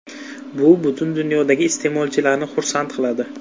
Bu butun dunyodagi iste’molchilarni xursand qiladi”.